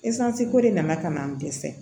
ko de nana ka na n dɛsɛ